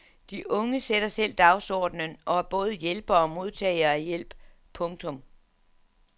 De unge sætter selv dagsordenen og er både hjælpere og modtagere af hjælp. punktum